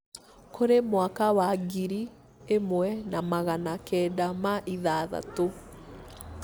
kũrĩ mwaka wa ngiri ĩmwe na magana kenda ma ithathatũ